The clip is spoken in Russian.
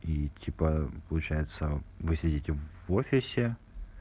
и типа получается вы сидеть в офисе